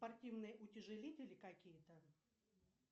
спортивные утяжелители какие то